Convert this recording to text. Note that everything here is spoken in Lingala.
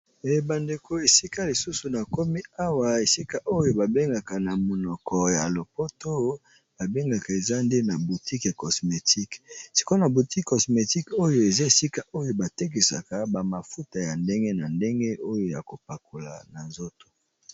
Ebandeko esika lisusu na komi awa esika oyo babengaka na monoko ya lopoto babengaka eza nde na boutique ya cosmétique sikona boutique cosmétique oyo eza esika oyo batekisaka bamafuta ya ndenge na ndenge oyo ya kopakola na nzoto.